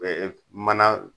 mana